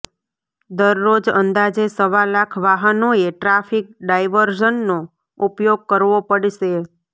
દરરોજ અંદાજે સવા લાખ વાહનોએ ટ્રાફિક ડાઇવર્ઝનનો ઉપયોગ કરવો પડશે